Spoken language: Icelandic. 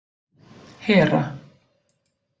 Hera